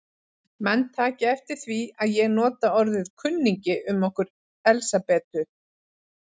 Menn taki eftir því að ég nota orðið kunningi um okkur Elsabetu.